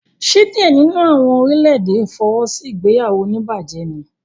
Ṣe diẹ nínú àwọn orílè-èdè fọwọ́sí ìgbéyàwó onibaje níí?